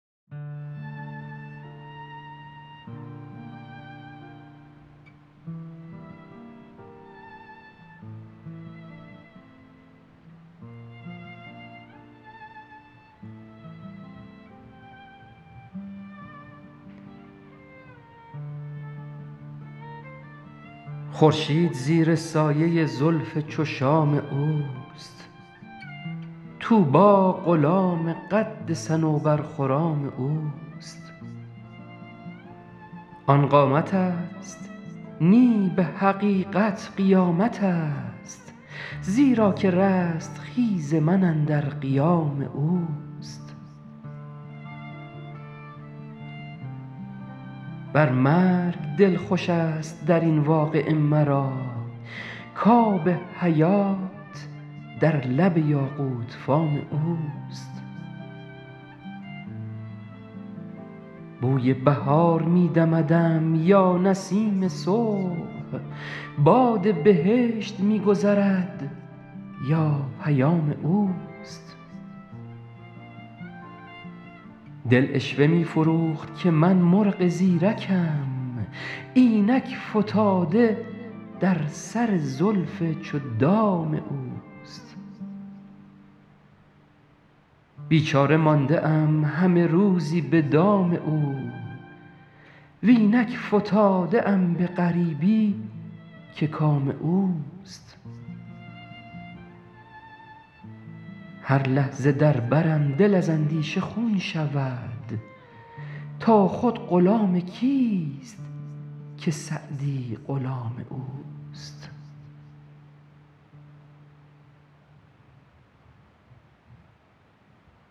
خورشید زیر سایه زلف چو شام اوست طوبی غلام قد صنوبرخرام اوست آن قامتست نی به حقیقت قیامتست زیرا که رستخیز من اندر قیام اوست بر مرگ دل خوشست در این واقعه مرا کآب حیات در لب یاقوت فام اوست بوی بهار می دمدم یا نسیم صبح باد بهشت می گذرد یا پیام اوست دل عشوه می فروخت که من مرغ زیرکم اینک فتاده در سر زلف چو دام اوست بیچاره مانده ام همه روزی به دام او و اینک فتاده ام به غریبی که کام اوست هر لحظه در برم دل از اندیشه خون شود تا خود غلام کیست که سعدی غلام اوست